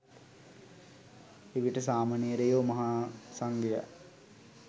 එවිට සාමණේරයෝ මහා සංඝයා